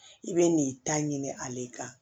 I bɛ n'i ta ɲini ale kan